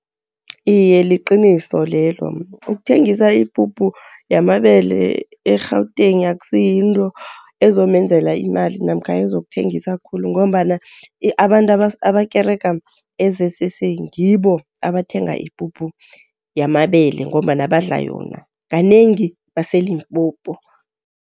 Iye, liqiniso lelo, ukuthengisa ipuphu yamabele e-Gauteng akusiyinto ezomenzela imali namkha ezokuthengisa khulu ngombana abantu abakerega e-Z_C_C ngibo abathenga ipuphu yamabele, ngombana badla yona. Kanengi baseLimpopo.